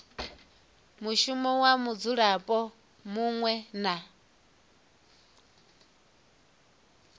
mushumo wa mudzulapo muṅwe na